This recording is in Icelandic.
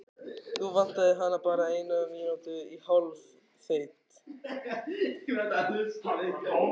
Nú vantaði hana bara eina mínútu í hálfeitt.